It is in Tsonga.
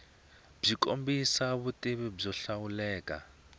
byi kombisa vutivi byo hlawuleka